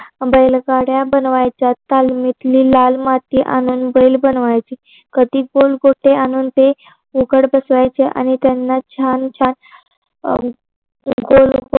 बैलगाड्या बनवायच्या तालमीतील लाल माती आणून बैल बनवायचे कधी गोटे आणून ते उघड बसवायचे आणि त्यांना छान छान गोल गोल